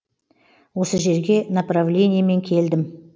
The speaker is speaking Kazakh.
осы жерге направлениемен келдім